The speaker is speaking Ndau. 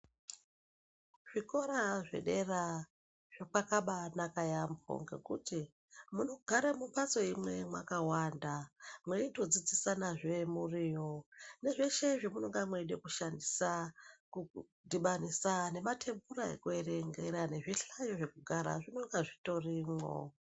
Kuzvikora zvedera kwakaba inaka yambo nekuti munogara mumbatso imwe makawanda mweito dzidzisana zve muriyo nezveshe zvinoda kushandiswa kudhibanisa nematebhura nekuerenga nezvihlayo zvekugara zvinonga zvitorimwo.